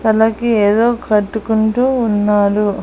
తలకి ఏదో కట్టుకుంటూ ఉన్నారు.